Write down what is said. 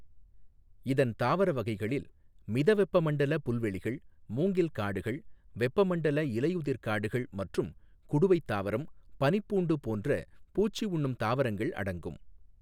இதன் தாவர வகைகளில் மிதவெப்ப மண்டல புல்வெளிகள், மூங்கில் காடுகள், வெப்பமண்டல இலையுதிர் காடுகள் மற்றும் குடுவை தாவரம், பனிப்பூண்டு போன்ற பூச்சி உண்ணும் தாவரங்கள் அடங்கும்.